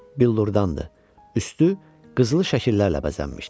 Billurdan idi, üstü qızılı şəkillərlə bəzənmişdi.